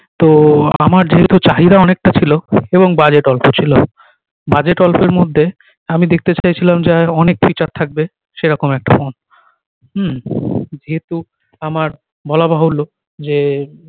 তো আমার যেহেতু চাহিদা অনেক টা ছিলো এবং budget অল্প ছিলো budget অল্পের মধ্যে আমি দেখতে চাইছিলাম যে অনেক feature থাকবে সে রকম একটা ফোন উম যেহেতু আমার বলাবাহুলো যে